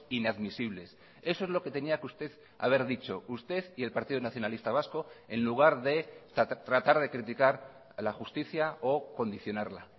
inadmisibles eso es lo que tenía que usted haber dicho usted y el partido nacionalista vasco en lugar de tratar de criticar la justicia o condicionarla